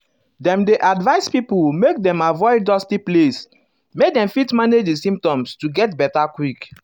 dem dey um advise pipo make dem avoid dusty place um make dem fit manage di symptoms to get beta quick.